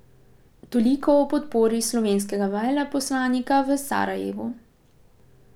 Toliko o podpori slovenskega veleposlanika v Sarajevu.